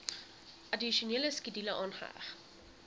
addisionele skedule aangeheg